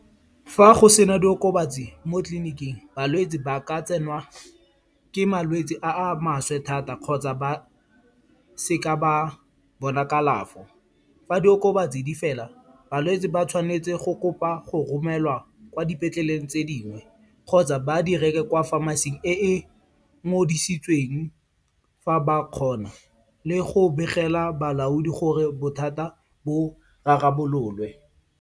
Fa go sena diokobatsi mo tleliniking, balwetsi ba ka tsenwa ke malwetsi a a maswe thata kgotsa ba seka ba bona kalafo. Fa diokobatsi di fela, balwetse ba tshwanetse go kopa go romelwa kwa dipetleleng tse dingwe kgotsa ba di reke kwa pharmacy-ing e e mo ngodisitsweng fa ba kgona. Le go begela balaodi gore bothata bo rarabololwe.